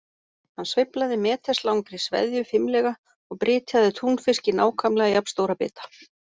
Hann sveiflaði meters langri sveðju fimlega og brytjaði túnfisk í nákvæmlega jafn stóra bita.